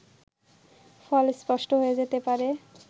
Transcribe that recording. ফল স্পষ্ট হয়ে যেতে পারে